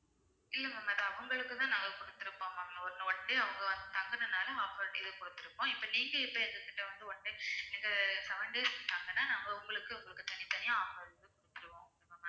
இல்ல ma'am அது அவங்களுக்கு தான் நாங்க குடுத்திருப்போம் ma'am one~ one day அவங்க வந்து தங்கனதுனால offer இது குடுத்திருப்போம் இப்ப நீங்க எங்க கிட்ட வந்து one day நீங்க seven days தங்கனா நாங்க உங்களுக்கு உங்களுக்கு தனித்தனியா offer வந்து குடுத்திடுவோம் okay வா ma'am